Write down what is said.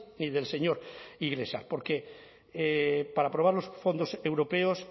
ni del señor iglesias porque para aprobar los fondos europeos